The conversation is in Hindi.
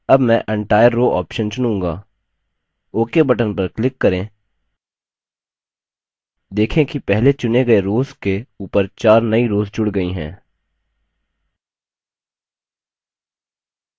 अब मैं entire row option चुनूँगा ok button पर click करें देखें कि पहले चुनें गए रोव्स के ऊपर 4 नई रोव्स जुड़ गई हैं